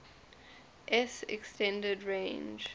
s extended range